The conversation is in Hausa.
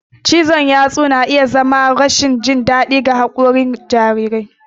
Cizon yatsu na iya zama martani ga rashin jin daɗin haƙori a cikin jarirai.